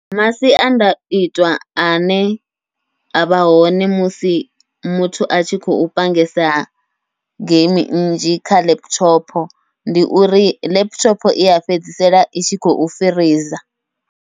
Masiandaitwa ane avha hone musi muthu a tshi khou pangesa geimi nnzhi kha laptop, ndi uri laptop iya fhedzisela i tshi khou firiza.